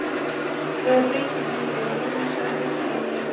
Það breytir engu, en Rúnar sagði að þetta hefði verið erfitt.